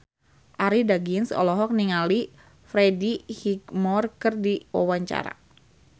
Arie Daginks olohok ningali Freddie Highmore keur diwawancara